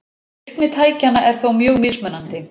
Virkni tækjanna er þó mjög mismunandi.